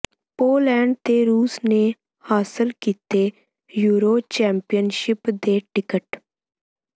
Poland ਤੇ ਰੂਸ ਨੇ ਹਾਸਲ ਕੀਤੇ ਯੂਰੋ ਚੈਂਪੀਅਨਸ਼ਿਪ ਦੇ ਟਿਕਟ